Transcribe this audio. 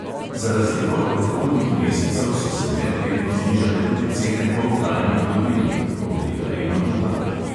Za razliko od predhodnih mesecev so se medletno znižale tudi cene poltrajnih dobrin (obleka in obutev).